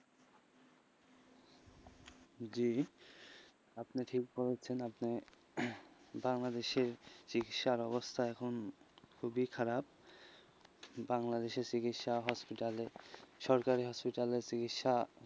জি, আপনি ঠিক বলছেন, আপনি উহ বাংলাদেশে চিকিৎসার অবস্থা এখন খুবই খারাপ, বাংলাদেশে চিকিৎসা hospital এ সরকারি hospital এ চিকিৎসা,